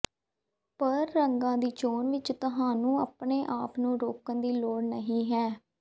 ਪਰ ਰੰਗਾਂ ਦੀ ਚੋਣ ਵਿਚ ਤੁਹਾਨੂੰ ਆਪਣੇ ਆਪ ਨੂੰ ਰੋਕਣ ਦੀ ਲੋੜ ਨਹੀਂ ਹੈ